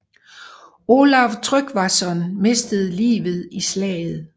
Olav Tryggvason mistede livet i slaget